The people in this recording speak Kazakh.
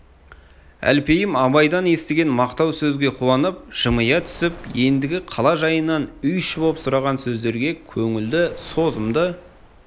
әлпейім абайдан естіген мақтау сөзге қуанып жымия түсіп ендігі қала жайынан үй іші боп сұраған сөздерге көңілді созымды